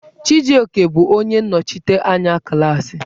Chijioke bụ onye nnọchiteanya klaasị.